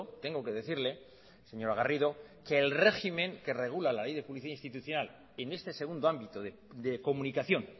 tengo que decirle señora garrido que el régimen que regula la ley de publicidad institucional en este segundo ámbito de comunicación